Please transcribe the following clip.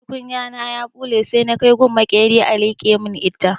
Tukunya na ya ɓule sai na kai gun maƙera a liƙe mun ita.